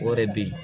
O de bɛ yen